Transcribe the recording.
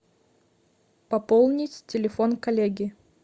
пополнить телефон коллеги